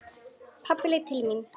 Pabbi leit til mín.